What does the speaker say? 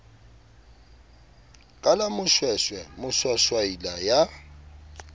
ka la moshweshwe moshwashwaila ya